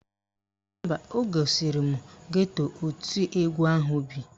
Mba, o gosiri m geto oti egwu ahụ bi.